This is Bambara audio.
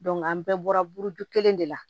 an bɛɛ bɔra buru kelen de la